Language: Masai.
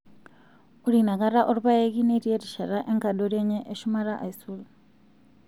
Ore inakata olpayeki netii erishata enkadori enye eshumata aisul.